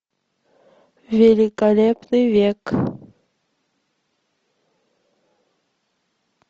великолепный век